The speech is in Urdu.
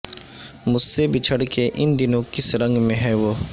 مجھ سے بچھڑ کے ان دنوں کس رنگ میں ہے وہ